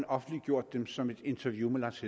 offentliggjort dem som et interview med lars